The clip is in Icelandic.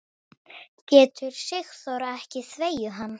Getur Sigþóra ekki þvegið hann?